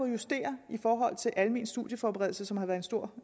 at justere i forhold til almen studieforberedelse som har været et stort